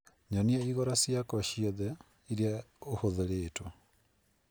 Nyonia igora ciakwa ciothe iria ũhũthĩrĩtwo